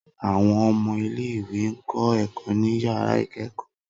Awọn ọmọ ile-iwe n kọ ẹkọ ni yara ikẹkọ.